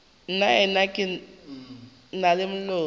nnaena ga ke na molomo